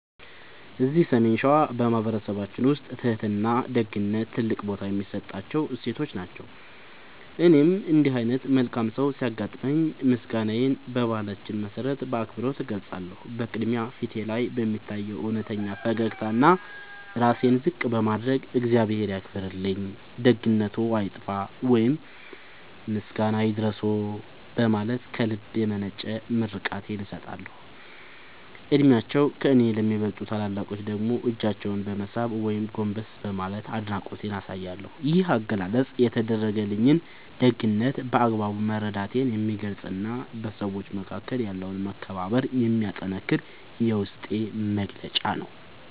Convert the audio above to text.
እዚህ ሰሜን ሸዋ በማኅበረሰባችን ውስጥ ትሕትናና ደግነት ትልቅ ቦታ የሚሰጣቸው እሴቶች ናቸው። እኔም እንዲህ ዓይነት መልካም ሰው ሲያጋጥመኝ ምስጋናዬን በባህላችን መሠረት በአክብሮት እገልጻለሁ። በቅድሚያ፣ ፊቴ ላይ በሚታይ እውነተኛ ፈገግታና ራሴን ዝቅ በማድረግ "እግዚአብሔር ያክብርልኝ፣ ደግነትዎ አይጥፋ" ወይም "ምስጋና ይድረስዎ" በማለት ከልብ የመነጨ ምርቃቴን እሰጣለሁ። ዕድሜያቸው ከእኔ ለሚበልጡ ታላላቆች ደግሞ እጃቸውን በመሳም ወይም ጎንበስ በማለት አድናቆቴን አሳያለሁ። ይህ አገላለጽ የተደረገልኝን ደግነት በአግባቡ መረዳቴን የሚገልጽና በሰዎች መካከል ያለውን መከባበር የሚያጠነክር የውስጤ መግለጫ ነው።